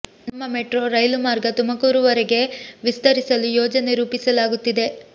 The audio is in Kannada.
ನಮ್ಮ ಮೆಟ್ರೋ ರೈಲು ಮಾರ್ಗ ತುಮಕೂರು ವರೆಗೆ ವಿಸ್ತರಿಸಲು ಯೋಜನೆ ರೂಪಿಸಲಾಗುತ್ತಿದೆ